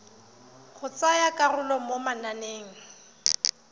go tsaya karolo mo mananeng